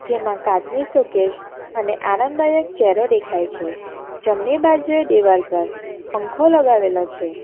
જેમાં કાચની શોકેસ આને આરામદાયક ચેરો દેખાય છે જમણી બાજુએ દિવાલ પર પંખો લગાવેલો છે.